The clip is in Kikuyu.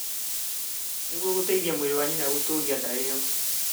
nĩguo gũteithia mwĩrĩ wa nyina gũtũũria nda ĩyo,